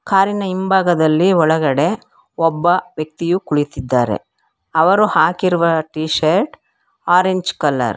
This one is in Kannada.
ಕಾರಿ ನ ಹಿಂಭಾಗದಲ್ಲಿ ಒಳಗಡೆ ಒಬ್ಬ ವ್ಯಕ್ತಿಯು ಕುಳಿತಿದ್ದಾರೆ ಅವರು ಹಾಕಿರುವ ಟಿಶರ್ಟ್ ಆರೆಂಜ್ ಕಲರ್ .